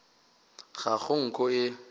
ga go nko ye e